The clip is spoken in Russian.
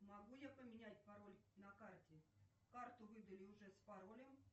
могу я поменять пароль на карте карту выдали уже с паролем